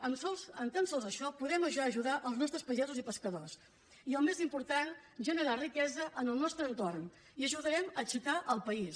amb tan sols això podem ja ajudar els nostres pagesos i pescadors i el més important generar riquesa en el nostre entorn i ajudarem a aixecar el país